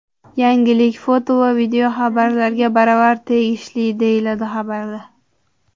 Yangilik foto va videolarga baravar tegishli, deyiladi xabarda.